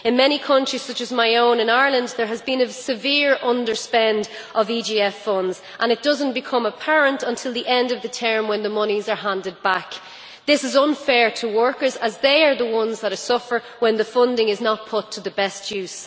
In many countries, such as my own, Ireland, there has been a severe underspend of EGF funds and it does not become apparent until the end of the term when the monies are handed back. This is unfair to workers as they are the ones that suffer when the funding is not put to the best use.